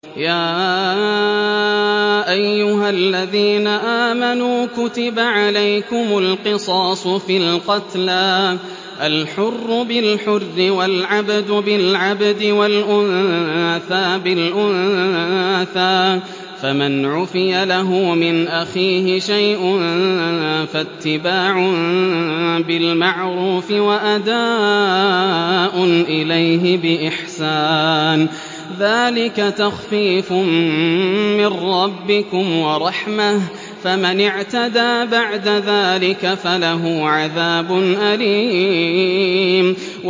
يَا أَيُّهَا الَّذِينَ آمَنُوا كُتِبَ عَلَيْكُمُ الْقِصَاصُ فِي الْقَتْلَى ۖ الْحُرُّ بِالْحُرِّ وَالْعَبْدُ بِالْعَبْدِ وَالْأُنثَىٰ بِالْأُنثَىٰ ۚ فَمَنْ عُفِيَ لَهُ مِنْ أَخِيهِ شَيْءٌ فَاتِّبَاعٌ بِالْمَعْرُوفِ وَأَدَاءٌ إِلَيْهِ بِإِحْسَانٍ ۗ ذَٰلِكَ تَخْفِيفٌ مِّن رَّبِّكُمْ وَرَحْمَةٌ ۗ فَمَنِ اعْتَدَىٰ بَعْدَ ذَٰلِكَ فَلَهُ عَذَابٌ أَلِيمٌ